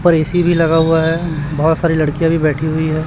पर ए_सी भी लगा हुआ है बहोत सारी लड़कियां भी बैठी हुई है।